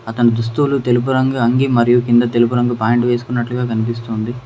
తన దుస్తులు తెలుపు రంగు అంగీ మరియు కింద తెలుపు రంగు ప్యాంటు వేసుకున్నట్టు కనిపిస్తుంది.